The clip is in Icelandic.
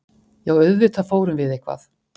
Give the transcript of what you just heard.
Já, auðvitað fórum við eitthvað.